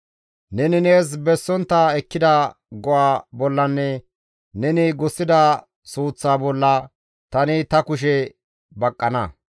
« ‹Neni nees bessontta ekkida go7a bollanne neni gussida suuththa bolla tani ta kushe baqqana.